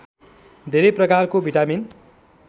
धेरै प्रकारको भिटामिन